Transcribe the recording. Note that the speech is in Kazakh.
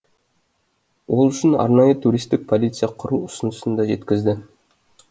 ол үшін арнайы туристік полиция құру ұсынысын да жеткізді